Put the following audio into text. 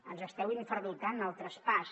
ens esteu infradotant el traspàs